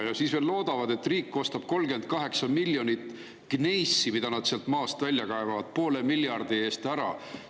Ja siis veel loodavad, et riik ostab 38 miljonit gneissi, mida nad seal maast välja kaevavad, poole miljardi eest ära.